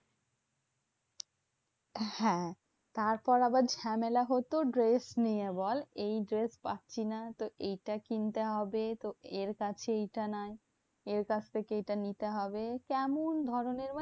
হ্যাঁ তারপর আবার ঝামেলা হতো dress নিয়ে বল? এই dress পাচ্ছিনা। তো এটা কিনতে হবে। তো এর কাছে এইটা নাই। এর কাছ থেকে এটা নিতে হবে। কেমন ধরণের মানে